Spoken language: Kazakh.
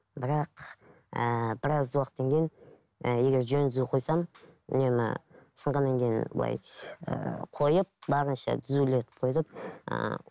бірақ ііі біраз уақыттан кейін і егер жөні түзу қойсаң нені сынғаннан кейін былай ыыы қойып барынша түзулетіп қойып ыыы